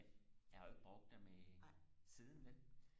men jeg har jo ikke brugt dem i siden vel